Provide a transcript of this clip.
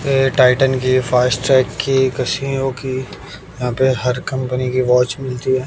ये टाइटन की फास्टटैरेक की कसीयो की यहां पे हर कंपनी की वॉच मिलती है।